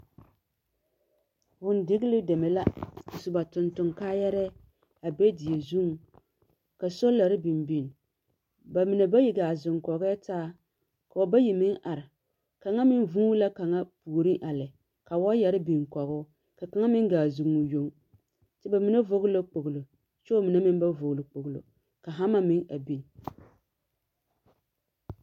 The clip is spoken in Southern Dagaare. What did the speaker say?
Vũũdigili deme la. A su ba tonton kaayɛrɛɛ a be die zuŋ, ka solare biŋ biŋ. Ba mine ga zeŋ kɔgɛɛ taa, ka bayi meŋ are. Kaŋa meŋ vuuni kaŋa puoriŋ a lɛ. Ka waayɛre biŋ kɔge o. Ka kaŋa meŋ gaa zeŋ o yoŋ. kyɛ bamine vɔgele kpoggili. kyɛ ba mine meŋ ba vɔgele kpogilo. Ka hama meŋ a biŋ.